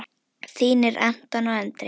Þínir Anton og Andri.